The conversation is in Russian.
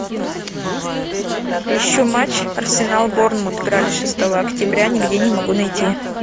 ищу матч арсенал борнмут играли шестого октября нигде не могу найти